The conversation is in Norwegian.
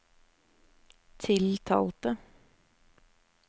tiltalte